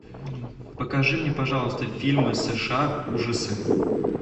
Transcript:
покажи мне пожалуйста фильмы сша ужасы